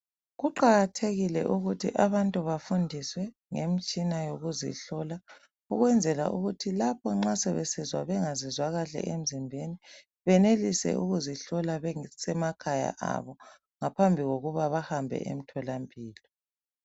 Kuqakathekile ukuthi abantu bafundiswe ngemtshina yokuzihlola ukwenzela ukuthi lapho nxa sebezizwa bengazizwa kahle emzimbeni benelise ukuzihlola besemakhaya abo ngaphambi kokuba bahambe emtholampilo.